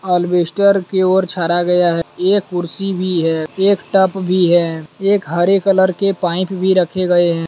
अलवेस्टर की ओर छारा गया है एक कुर्सी भी है एक टब भी है एक हरे कलर के पाइप भी रखे गए हैं।